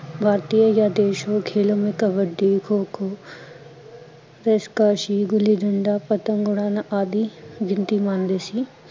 ਵਰਤੀਯ ਖੇਲ ਸਦੇਸ਼ੋਂ ਮੇ ਕਬੱਡੀ, ਖੋ ਖੋ ਰਸ਼ਕਸ਼ੀ, ਗੁੱਲੀ ਡੰਡਾ, ਪਤੰਗ ਉਡਾਨਾਂ ਆਦਿ ਬਿਨਤੀ ਮਾਣਦੇ ਸੀ